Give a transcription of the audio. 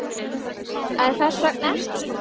En hvers vegna ekki?